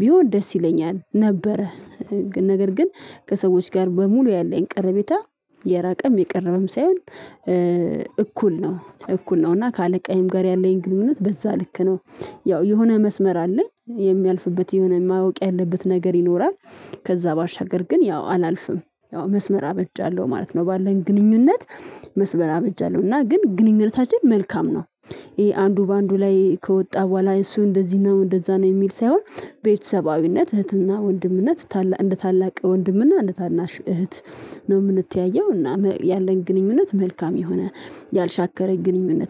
ቢሆን ደስ ይለኛል ነበረ። ነገር ግን ከሰዎች ጋር በሙሉ ያለኝ ቅርቤታ የራቀም የቀረበም ሳይሆን እኩል ነው። እኩል ነው። እና ከአለቃየም ጋር ያለኝ ግንኙነት በዛ ልክ ነው። ያው የሆነ መስመር አለኝ። የሚያልፍበት የሆነ ማወቅ ያለበት ነገር ይኖራል። ከዛ ባሻገር ግን ያው አላልፍም። ያው መስመር አበጃለሁ ማለት ነው። ባለን ግንኙነት መስመር አበጃለሁ። እና ግን ግንኙነታችን መልካም ነው። ይሄ አንዱ በአንዱ ላይ ከወጣ በኋላ እሱ እንደዚህ ነው እንደዛ ነው የሚል ሳይሆን፤ ቤተሰባዊነት እህትና ወንድምነት ታላቅ እንደ ታላቅ ወንድምና እንደ ታናሽ እህት ነው የምንተያየው። እናም ያለን ግንኙነት መልካም የሆነ ያልሻከረኝ ግንኙነት ነው።